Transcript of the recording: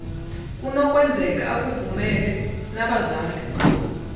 kunokwenzeka akuvumele nabazali